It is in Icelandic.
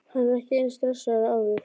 Hann er ekki eins stressaður og áður.